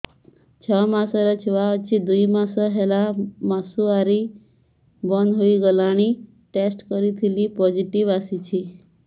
ଛଅ ମାସର ଛୁଆ ଅଛି ଦୁଇ ମାସ ହେଲା ମାସୁଆରି ବନ୍ଦ ହେଇଗଲାଣି ଟେଷ୍ଟ କରିଥିଲି ପୋଜିଟିଭ ଆସିଛି